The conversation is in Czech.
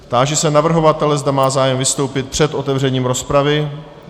Táži se navrhovatele, zda má zájem vystoupit před otevřením rozpravy.